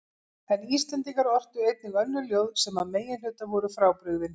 En Íslendingar ortu einnig önnur ljóð sem að meginhluta voru frábrugðin